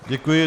Děkuji.